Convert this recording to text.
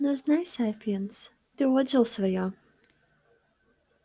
но знай сапиенс ты отжил своё